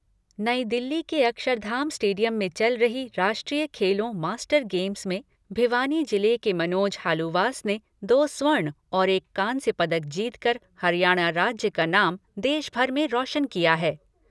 नई दिल्ली के अक्षरधाम स्टेडियम में चल रही राष्ट्रीय खेलो मास्टर गेम्स में भिवानी जिले के मनोज हांलुवास् ने दो स्वर्ण और एक कांस्य पदक जीतकर हरियाणा राज्य का नाम देश भर में रोशन किया है।